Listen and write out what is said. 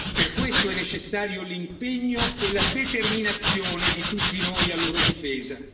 Per questo è necessario l'impegno e la determinazione di tutti noi a loro difesa.